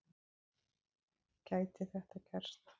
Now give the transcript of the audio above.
Gæti þetta gerst?